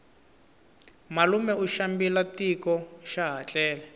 malume u xambile tiko xaha tlele